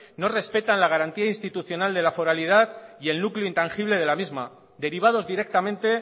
no respetan la garantía institucional de la foralidad y el núcleo intangible de la misma derivados directamente